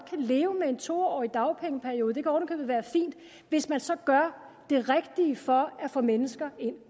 leve med en to årig dagpengeperiode det kan oven i købet være fint hvis man så gør det rigtige for at få mennesker ind